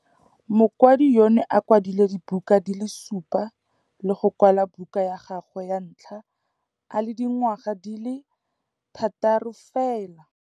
Mokwadi yono o kwadile dibuka di le supa le go kwala buka ya gagwe ya ntlha a le dingwaga di le 6 fela.